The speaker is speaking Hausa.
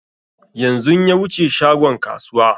Yanzun ya wuce shagon kasuwa